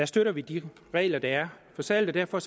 støtter vi de regler der er for salg og derfor